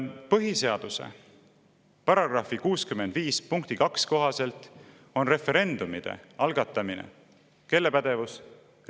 Põhiseaduse § 65 punkti 2 kohaselt on referendumi algatamine kelle pädevus?